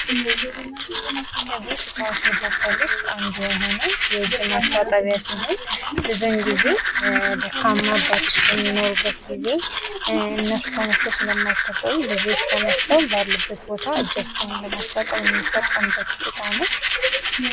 ከቤት እቃዎች መካከል ውስጥ አንዱ የሆነው የእጅ ማስታጠቢያ ሲሆን ብዙውን ጊዜ ደካማ አባቶች በሚኖሩበት ግዜ እነሱ ተነስተው ስለማይታጠቡ ልጆች ተነስተው ባሉበት ቦታ እጃቸውን የማስታጠብ የምንጠቀምበት እቃ ነው።